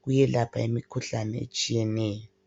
kuyelapha imikhuhlane etshiyeneyo.